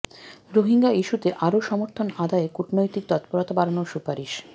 রোহিঙ্গা ইস্যুতে আরও সমর্থন আদায়ে কূটনৈতিক তৎপরতা বাড়ানোর সুপারিশ